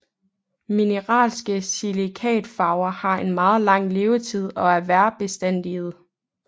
Mineralske silikatfarver har en meget lang levetid og er vejrbestandige